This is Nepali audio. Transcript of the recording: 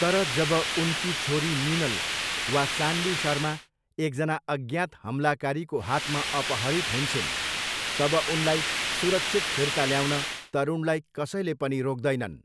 तर जब उनकी छोरी मिनल वा सान्वी शर्मा एकजना अज्ञात हमलाकारीको हातमा अपहरित हुन्छिन्, तब उनलाई सुरक्षित फिर्ता ल्याउन तरुणलाई कसैले पनि रोक्दैनन्।